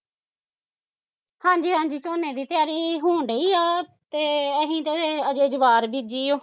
ਹਾਂਜੀ ਹਾਂਜੀ ਝੋਨੇ ਦੀ ਤਿਆਰੀ, ਹੋਣ ਡਈ ਆ ਤੇ ਅਸੀਂ ਤੇ ਅਜੇ ਜਵਾਹਰ ਬੀਜੀ ਓ